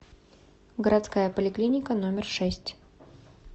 городская поликлиника номер шесть